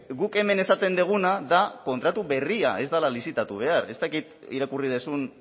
guk hemen esaten duguna da kontratu berria ez dela lizitatu behar ez dakit irakurri duzun